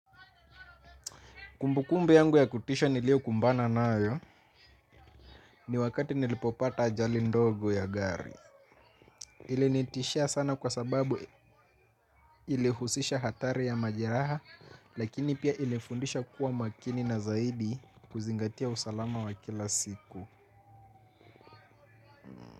Kumbukumbu yangu ya kutisha niliokumbana nayo ni wakati nilipopata ajali ndogo ya gari. Ilinitishia sana kwa sababu ilihusisha hatari ya majeraha lakini pia ilifundisha kuwa makini na zaidi kuzingatia usalama wa kila siku.